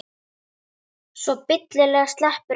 Svo billega sleppur enginn.